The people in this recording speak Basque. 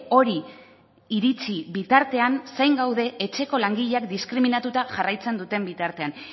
hori iritsi bitartean zain gaude etxeko langileak diskriminatuta jarraitzen duten bitartean